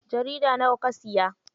Jarida nawa ka siya?